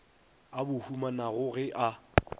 a bo humanago ge a